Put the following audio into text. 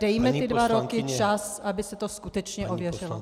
Dejme ty dva roky čas, aby se to skutečně ověřilo.